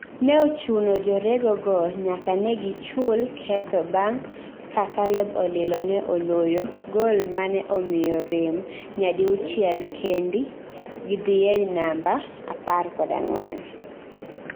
no chuno ni jorego go nyaka negi chulketho bang ka Caleb Olilo ne oloyo gol mane omiyo rem nyadiuchiel kendi dhie namba apar kod angwen